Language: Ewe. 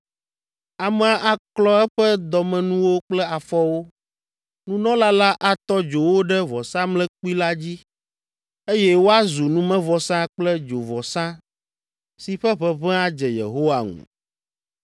Amea aklɔ eƒe dɔmenuwo kple afɔwo, nunɔla la atɔ dzo wo ɖe vɔsamlekpui la dzi, eye woazu numevɔsa kple dzovɔsa si ƒe ʋeʋẽ adze Yehowa ŋu.